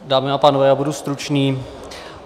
Dámy a pánové, já budu stručný.